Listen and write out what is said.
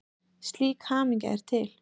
Slík hamingja er til.